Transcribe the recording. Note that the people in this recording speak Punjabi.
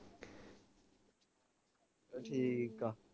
ਚਲ ਠੀਕ ਆ